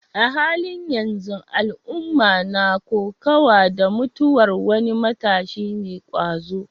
A halin yanzu, al'umma na kokawa da mutuwar wani matashi mai ƙwazo.